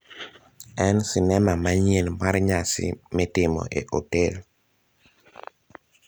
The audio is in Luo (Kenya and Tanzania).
en sinema manyien mar nyasi mitimo e otel